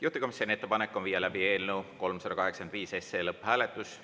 Juhtivkomisjoni ettepanek on viia läbi eelnõu 385 SE lõpphääletus.